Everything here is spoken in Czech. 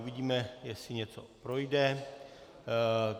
Uvidíme, jestli něco projde.